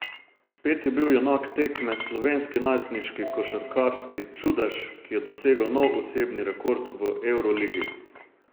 Spet je bil junak tekme slovenski najstniški košarkarski čudež, ki je dosegel nov osebni rekord v evroligi.